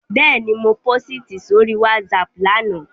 Bẹ́ẹ̀ni, mo pósìtì sórí WhatsApp lánàá